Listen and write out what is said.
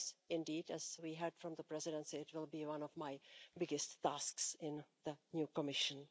Indeed, as we heard from the Presidency, it will be one of my biggest tasks in the new Commission.